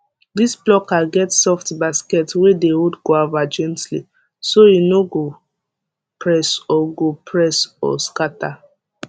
this plucker get soft basket wey dey hold guava gently so e no go press or go press or scatter